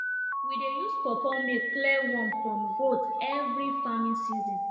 we dey use pawpaw milk clear worm from goat every farming season